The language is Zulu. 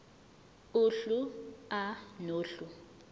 uhlu a nohlu